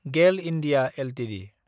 गेल (India) Ltd